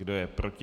Kdo je proti?